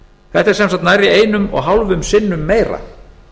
þetta er sem sagt nærri einum og hálfum sinnum meira